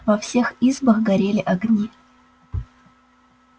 во всех избах горели огни